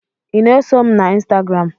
ị na-eso m na ịnstagram?